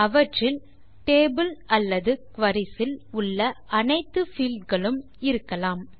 அவற்றில் டேபிள் அல்லது குரி இல் உள்ள அனைத்து பீல்ட் களும் இருக்கலாம்